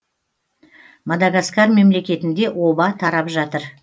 мадагаскар мемлекетінде оба тарап жатыр